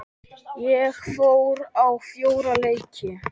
Ég fór á fjóra leiki.